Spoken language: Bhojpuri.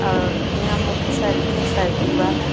आ ई ईहाँ मोटरसाइकिल और साइकिल बा है।